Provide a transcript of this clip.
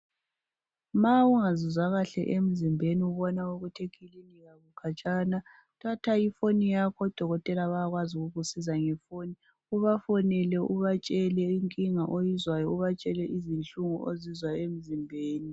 Ma ungazizwa kahle emzimbeni ubona ukuthi eklinika kukhatshana thatha ifoni yakho odokotela bayakwazi ukukusiza ngefoni , ubafonele ubatshele inkinga ozizwayo ukubatshele izinhlungu ozizwa emzimbeni